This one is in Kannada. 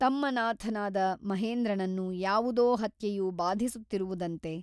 ತಮ್ಮ ನಾಥನಾದ ಮಹೇಂದ್ರನನ್ನು ಯಾವುದೋ ಹತ್ಯೆಯು ಬಾಧಿಸುತ್ತಿರುವುದಂತೆ.